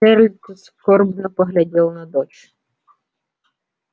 джералд скорбно поглядел на дочь